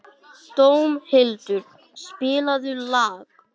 Dómhildur, spilaðu lag.